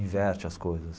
Inverte as coisas.